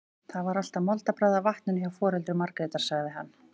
Það var alltaf moldarbragð af vatninu hjá foreldrum Margrétar, sagði hann.